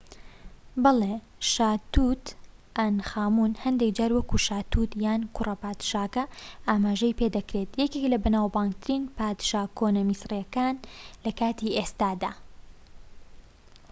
بەڵێ شا توت ئانخامون هەندێك جار وەک شا توت یان کوڕە پادشاکە ئاماژەی پێدەکرێت یەکێکە لە بەناوبانگترین پادشا کۆنە میسریەکان لە کاتی ئێستادا